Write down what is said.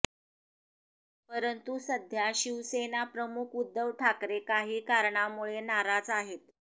परंतू सध्या शिवसेना प्रमुख उध्दव ठाकरे काही कारणामुळे नाराज आहेत